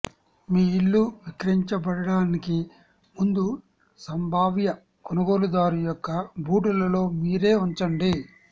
మీ ఇల్లు విక్రయించబడటానికి ముందు సంభావ్య కొనుగోలుదారు యొక్క బూటులలో మీరే ఉంచండి